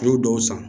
N'u y'o dɔw san